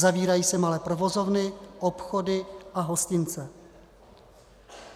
Zavírají se malé provozovny, obchody a hostince.